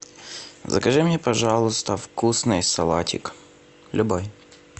закажи мне пожалуйста вкусный салатик любой